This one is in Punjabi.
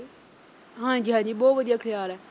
ਹਾਂਜੀ-ਹਾਂਜੀ ਬਹੁਤ ਵਧੀਆ ਖਿਆਲ ਐ।